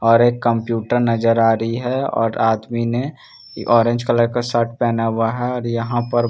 और एक कम्प्यूटर नजर आ रही हैं और आदमी ने ऑरेंज कलर का शर्ट पहना हुआ है और यहां पर--